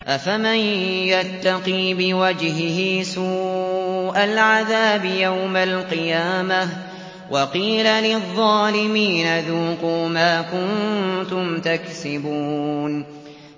أَفَمَن يَتَّقِي بِوَجْهِهِ سُوءَ الْعَذَابِ يَوْمَ الْقِيَامَةِ ۚ وَقِيلَ لِلظَّالِمِينَ ذُوقُوا مَا كُنتُمْ تَكْسِبُونَ